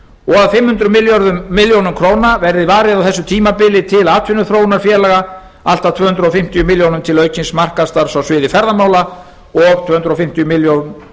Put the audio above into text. og að fimm hundruð milljóna króna verði varið á þessu tímabili til atvinnuþróunarfélaga allt að tvö hundruð fimmtíu milljónir til aukins markaðsstarfs á sviði ferðamála og tvö hundruð fimmtíu